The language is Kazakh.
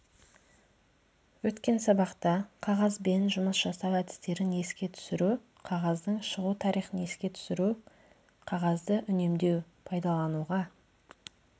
өткен сабақта қағазбен жұмыс жасау әдістерін еске түсіру қағаздың шығу тарихын еске түсіру қағазды үнемдеу пайдалануға